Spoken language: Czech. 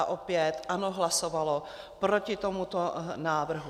A opět ANO hlasovalo proti tomuto návrhu.